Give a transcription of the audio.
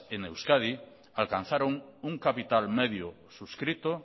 en euskadi alcanzaron un capital medio suscrito